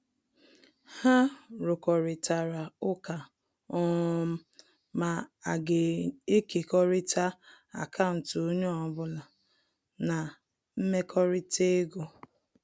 Ha rukoritara ụka um ma aga ekekọrita akaụntụ onye ọbụla na mmekọrịta ego